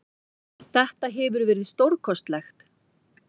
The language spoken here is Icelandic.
Þetta hefur verið stórkostlegt.